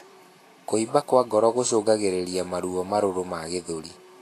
Kuimba kwa ngoro gucungagirirĩa maruo marũrũ ma gĩthũri